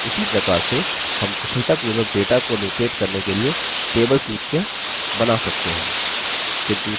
उसी प्रकार से हम कुशलतापूर्वक data को locate करने के लिए table सूचियाँ बना सकते हैं